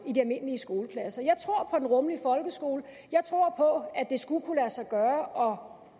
i de almindelige skoleklasser jeg tror på den rummelige folkeskole jeg tror på at det skulle kunne lade sig gøre